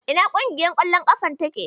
Ina ƙungiyar ƙwallon ƙafan take?